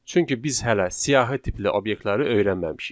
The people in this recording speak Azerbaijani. Çünki biz hələ siyahı tipli obyektləri öyrənməmişik.